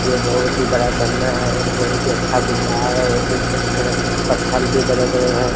ये बहुत ही बड़ा झरना है और बहुत है अच्छा दिख रहा है और देख सकते है पत्थल भी बड़े बड़े है।